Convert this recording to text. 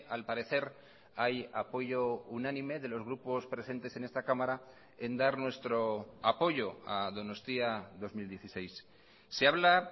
al parecer hay apoyo unánime de los grupos presentes en esta cámara en dar nuestro apoyo a donostia dos mil dieciséis se habla